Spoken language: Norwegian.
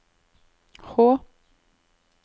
Hå